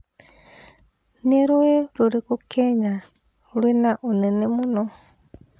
nĩ rũi rũrikũ Kenya rwĩ na ũnene mũno